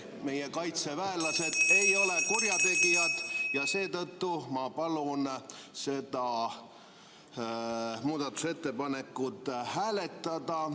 Meie kaitseväelased ei ole kurjategijad ja seetõttu ma palun seda muudatusettepanekut hääletada.